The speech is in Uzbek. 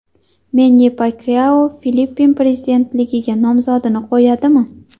Menni Pakyao Filippin prezidentligiga nomzodini qo‘yadimi?